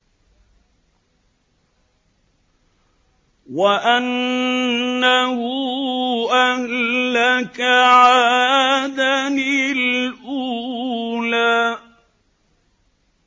وَأَنَّهُ أَهْلَكَ عَادًا الْأُولَىٰ